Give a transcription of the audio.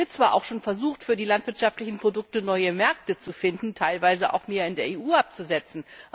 Es wird zwar auch schon versucht, für die landwirtschaftlichen Produkte neue Märkte zu finden, teilweise auch mehr in der EU abzusetzen.